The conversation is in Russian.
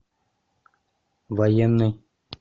военный